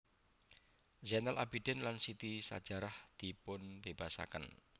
Zainal Abidin lan Siti Sajarah dipunbebasaken